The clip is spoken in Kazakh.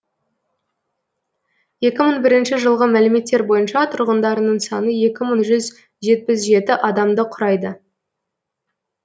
екі мың бірінші жылғы мәліметтер бойынша тұрғындарының саны екі мың жетпіс жеті адамды құрайды